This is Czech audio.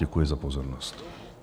Děkuji za pozornost.